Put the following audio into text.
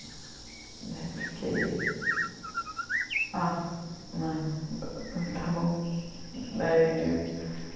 Daí eu fiquei... tá, né, está bom.